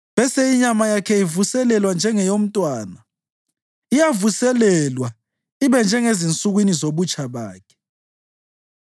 bese inyama yakhe ivuselelwa njengeyomntwana; iyavuselelwa ibe njengezinsukwini zobutsha bakhe.’